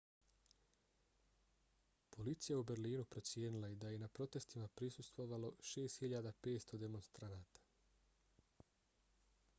policija u berlinu procijenila je da je na protestima prisustvovalo 6.500 demonstranata